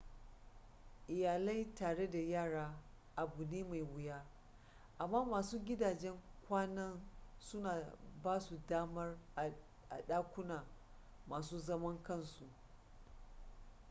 iyalai tare da yara abu ne mai wuya amma wasu gidajen kwanan suna ba su damar a ɗakuna masu zaman kansu